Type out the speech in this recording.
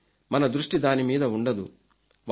కానీ మన దృష్టి దాని మీద ఉండదు